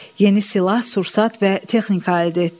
Yeni silah, sursat və texnika əldə etdi.